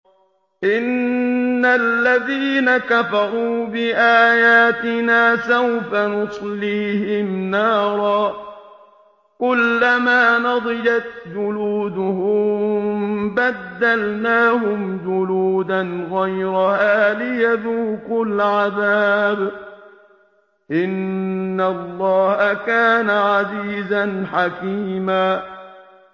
إِنَّ الَّذِينَ كَفَرُوا بِآيَاتِنَا سَوْفَ نُصْلِيهِمْ نَارًا كُلَّمَا نَضِجَتْ جُلُودُهُم بَدَّلْنَاهُمْ جُلُودًا غَيْرَهَا لِيَذُوقُوا الْعَذَابَ ۗ إِنَّ اللَّهَ كَانَ عَزِيزًا حَكِيمًا